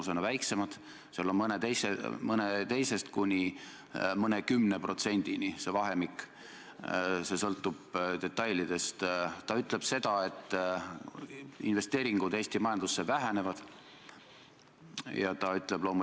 Seda enam, et selgus, et ka Sotsiaalministeerium ei ole puuetega inimeste esindusorganisatsiooniga ühendust võtnud ja nemad ei ole mitte kuidagi teadlikud olnud sellest raudteeseaduse menetlemisest ja ka erandite pikendamise menetlemisest.